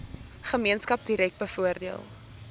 gemeenskap direk bevoordeel